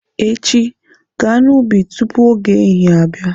Echi, gaa n'ubi tupu oge ehihie abịa!